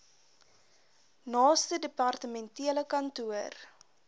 naaste departementele kantoor